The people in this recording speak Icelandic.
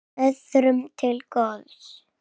Öðrum til góðs.